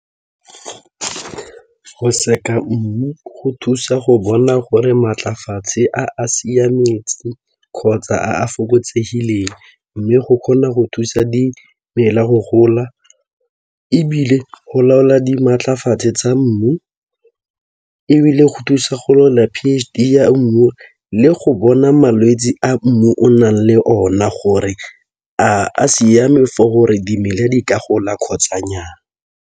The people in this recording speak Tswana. Go seka mmu go thusa go bona gore maatlafatshe a a siametse kgotsa a a fokotsegileng mme go kgona go thusa dimela go gola ebile go laola di maatlafatshe tsa mmu ebile go thusa go laola P_h_D ya mmu le go bona malwetse a mmu o nang le ona gore a a siame for gore dimela di ka gola kgotsa nnyaa.